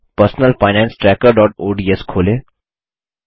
personal finance tracker ODS खोलें